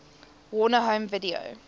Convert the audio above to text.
warner home video